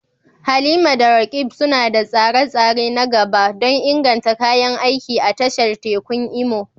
Halima da Roqeeb suna da tsare-tsare na gaba don inganta kayan aiki a tashar tekun Imo.